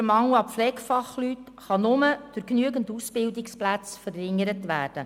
Der Mangel an Pflegefachpersonen kann nur durch genügend Ausbildungsplätze verringert werden.